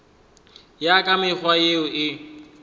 ya ka mekgwa yeo e